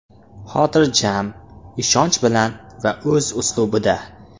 Xotirjam, ishonch bilan va o‘z uslubida.